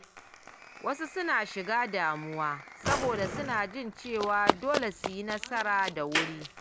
Wasu suna shiga damuwa saboda suna jin cewa dole su yi nasara da wuri.